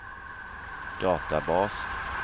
databas